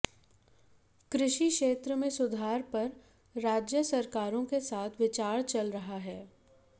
कृषि क्षेत्र में सुधार पर राज्य सरकारों के साथ विचार चल रहा है